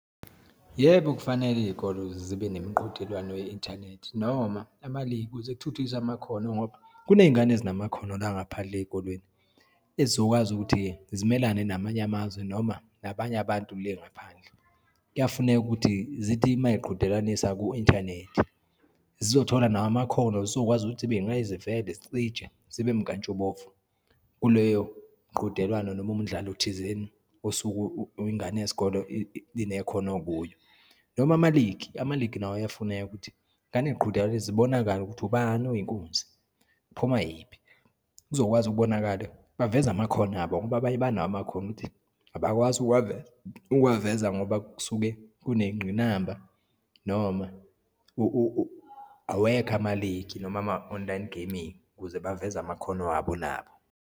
Yebo, kufanele iyikole zibe nemiqhudelwano ye-inthanethi noma ama-league kuze kuthuthukiswe amakhono, ngoba kuneyingane ezinamakhono la ngaphandle eyikolweni, ezizokwazi ukuthi-ke zimelane namanye amazwe, noma nabanye abantu le ngaphandle. Kuyafuneka ukuthi zithi uma yiqhudelanisa ku-inthanethi, zizothola nawo amakhono, zizokwazi ukuthi zibe inqayizivele, zicije, zibe mkantshubomvu kuleyo mqhudelwano noma umdlalo thizeni osuke ingane yesikole inekhono kuyo, noma ama-league. Ama-league nawo ayafuneka ukuthi iyingane yiqhudelane zibonakale ukuthi ubani oyinkunzi, kuphuma yiphi, kuzokwazi ukubonakala. Baveze amakhono abo ngoba abanye banawo amakhono ukuthi abakwazi ukuwaveza ngoba kusuke kuneyingqinamba, noma awekho ama-league, noma ama-online gaming kuze baveze amakhono abo nabo.